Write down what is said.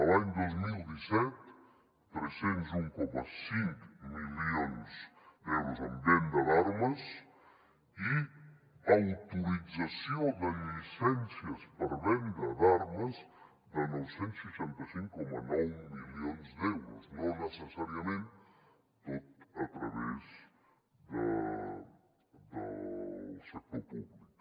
l’any dos mil disset tres cents i un coma cinc milions d’euros en venda d’armes i autorització de llicències per venda d’armes de nou cents i seixanta cinc coma nou milions d’euros no necessàriament tot a través del sector públic